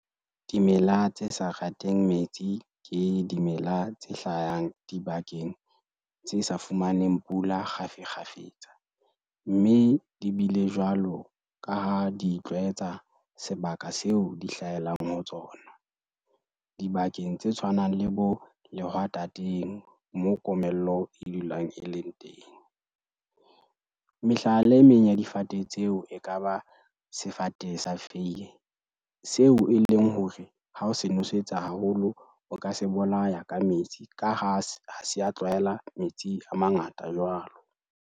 Dimela tse sa rateng metsi ke dimela tse hlayang dibakeng tse sa fumaneng pula kgafikgafetsa, mme di bile jwalo ka ha di itlwaetsa sebaka seo di hlahelang ho tsona. Dibakeng tse tshwanang le bo lehwatateng, moo komello e dulang e leng teng. Mehlala e meng ya difate tseo e ka ba sefate sa feiye seo e leng hore ha o se nwesetsa haholo, o ka se bolaya ka metsi ka ha, ha se a tlwaela metsi a mangata jwalo.